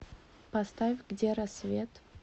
поставь где рассвет